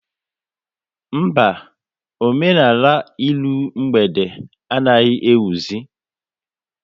Mba, omenala ịrụ mgbede anaghị ewuzi